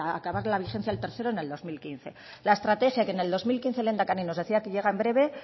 acabar la vigencia del tercero en el dos mil quince la estrategia que en dos mil quince el lehendakari nos decía que llega en breve